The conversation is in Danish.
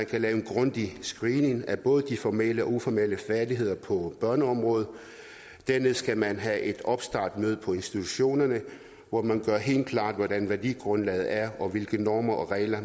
kan lave en grundig screening af både de formelle og uformelle færdigheder på børneområdet dernæst kan man have et opstartsmøde på institutionerne hvor man gør helt klart hvordan værdigrundlaget er og hvilke normer og regler